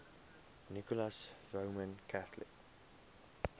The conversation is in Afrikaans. nicholas roman catholic